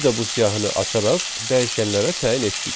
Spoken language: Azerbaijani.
Biz də bu siyahını açaraq dəyişənlərə təyin etdik.